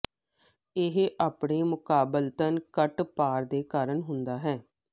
ਇਹ ਆਪਣੇ ਮੁਕਾਬਲਤਨ ਘੱਟ ਭਾਰ ਦੇ ਕਾਰਨ ਹੁੰਦਾ ਹੈ